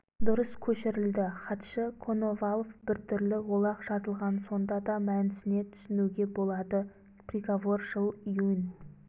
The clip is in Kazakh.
дұрыс көшірілді хатшы коновалов біртүрлі олақ жазылған сонда да мәнісіне түсінуге болады приговор жыл июнь